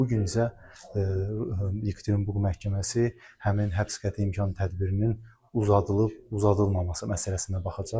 Bu gün isə Ekaterinburg məhkəməsi həmin həbs qəti imkan tədbirinin uzadılıb-uzadılmaması məsələsinə baxacaq.